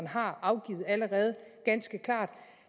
har afgivet ganske klart